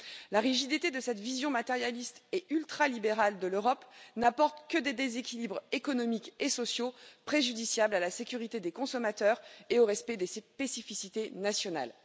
La rigidité de cette vision matérialiste et ultralibérale de l'Europe n'apporte que des déséquilibres économiques et sociaux préjudiciables à la sécurité des consommateurs et au respect des spécificités nationales.